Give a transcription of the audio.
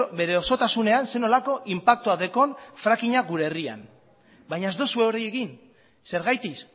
bere osotasunean zer nolako inpaktua dekon fracking a gure herrian baina ez duzue hori egin zergatik